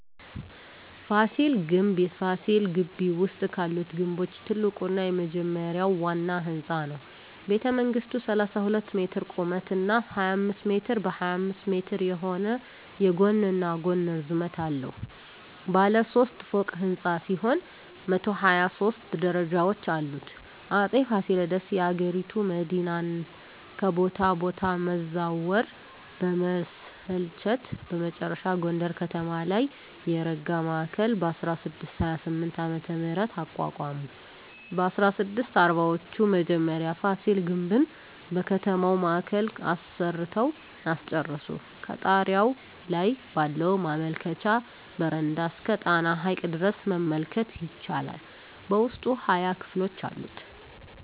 ፋሲል ግምብ ፋሲል ግቢ ውስጥ ካሉት ግምቦች ትልቁና የመጀመሪያው ዋና ህንጻ ነው። ቤተመንግሥቱ 32 ሜትር ቁመት እና 25 ሜትር በ25 ሜትር የሆነ የጎንና ጎን ርዝመት አለው። ባለ ሦስት ፎቅ ሕንፃ ሲሆን 123 ደረጃዎች አሉት። አጼ ፋሲለደስ የአገሪቱ መዲናን ከቦታ ቦታ መዛወር በመሰልቸት በመጨረሻ ጎንደር ከተማ ላይ የረጋ ማዕከል በ1628ዓ.ም. አቋቋሙ። በ1640ወቹ መጀመሪያ ፋሲል ግምብን በከተማው ማዕከል አሰርተው አስጨረሱ። ከጣሪያው ላይ ባለው መመልከቻ በረንዳ እስከ ጣና ሐይቅ ድረስ መመልከት ይቻላል። በውስጡ 20 ክፍሎች አሉት።